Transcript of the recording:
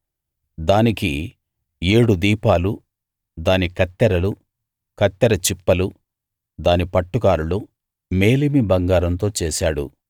దానికి ఏడు దీపాలు దాని కత్తెరలు కత్తెర చిప్పలు దాని పట్టుకారులు మేలిమి బంగారంతో చేశాడు